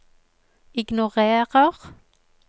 ignorer